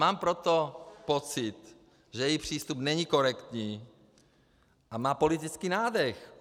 Mám proto pocit, že její přístup není korektní a má politický nádech.